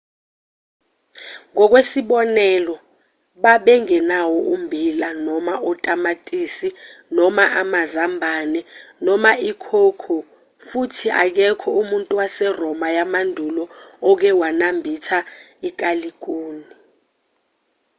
ngokwesibonelo babengenawo ummbila noma otamatisi noma amazambane noma i-cocoa futhi akekho umuntu waseroma yamandulo oke wanambitha ikalikuni